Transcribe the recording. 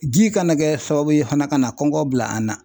Ji kana kɛ sababu ye fana ka na kɔngɔ bila an na.